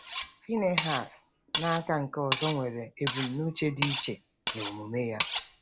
Phinehas, n’aka nke ọzọ, nwere ebumnuche dị iche n’omume ya.